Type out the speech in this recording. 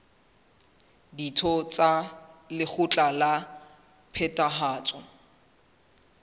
ditho tsa lekgotla la phethahatso